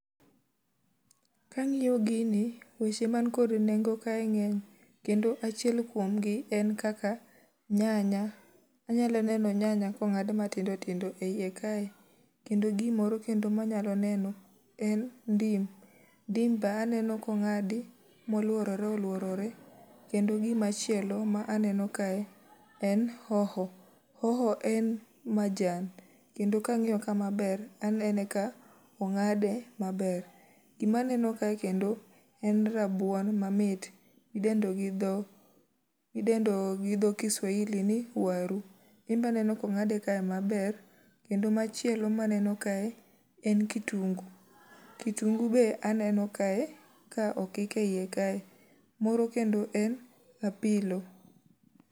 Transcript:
Ka angíyo gini, weche ma ni kod nengo kae ngény. Kendo achiel kuom gi en kaka nyanya. Anyalo neno nyanya ka ongádi ma tindo tindo e iye kae. Kendo gimoro kendo ma anyalo neno en ndim. Ndim be aneno ka ongádi ma olworore olworore. Kendo gima chielo ma aneno kae en hoho. Hoho en majan, kendo ka angiyo ka maber, anene ka ongáde maber. Gima aneno kae kendo en rabuon mamit. Midendo gi dho, midendo gi dho Kiswahili ni waru. Gin be aneno ka ongádei kae maber. Kendo machielo ma aneno kae en kitungu. Kitungu be aneno kae, ka okik e ie kae. Moro kendo en apilo.